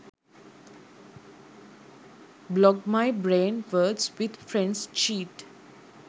blog my brain words with friends cheat